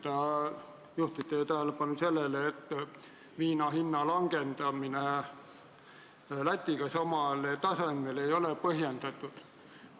Ta juhtis teie tähelepanu sellele, et viina hinna langetamine Läti omaga samale tasemele ei ole põhjendatud.